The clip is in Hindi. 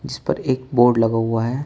इस पर एक बोर्ड लगा हुआ है।